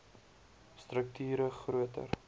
strukt ure groter